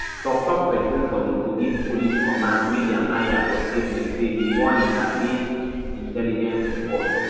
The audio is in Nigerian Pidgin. toktok pesin for di kogi police command william aya for statement say di warning na based intelligence report